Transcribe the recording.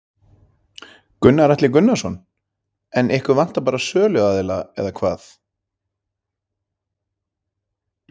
Gunnar Atli Gunnarsson: En ykkur vantar bara söluaðila eða hvað?